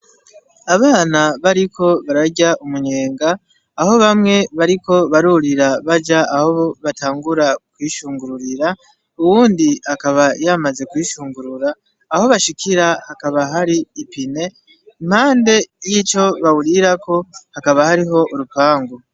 Abana bariko bararya umunyenga aho bamwe bariko barurira baja aho batangura kwishungururira uwundi akaba yamaze gushungurura, aho bashikira hakaba hari ipine, impande y'ico bawurirako hakaba hariho urupangu.